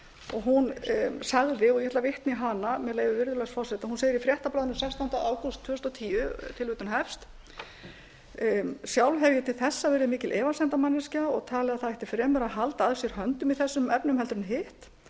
og hún sagði og ég ætla að vitna í hana með leyfi virðulegs forseta hún segir í fréttablaðinu sextánda ágúst tvö þúsund og tíu sjálf hef ég til þessa verið mikil efasemdamanneskja og tel að það ætti fremur að halda að sér höndum í þessum efnum heldur en hitt